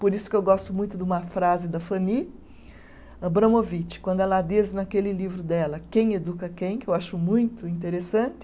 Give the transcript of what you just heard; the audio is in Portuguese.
Por isso que eu gosto muito de uma frase da Fanny Abramovich, quando ela diz naquele livro dela, Quem Educa Quem?, que eu acho muito interessante,